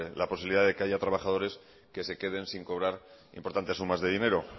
la posibilidad de que haya trabajadores que se queden sin cobrar importantes sumas de dinero